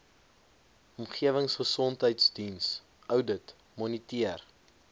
omgewingsgesondheidsdiens oudit moniteer